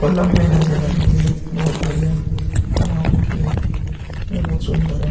नज़र आ रही है। बोहोत बढ़िया बना रखी है। ये बोहोत सुंदर है।